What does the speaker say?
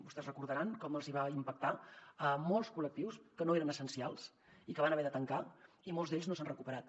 vostès deuen recordar com va impactar a molts col·lectius que no eren essencials i que van haver de tancar i molts d’ells no s’han recuperat